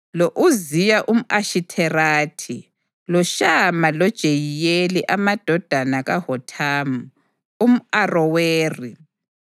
lo-Uziya umʼAshitherathi, loShama loJeyiyeli amadodana kaHothamu umʼAroweri,